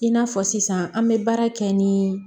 I n'a fɔ sisan an bɛ baara kɛ ni